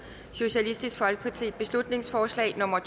beslutningsforslag nummer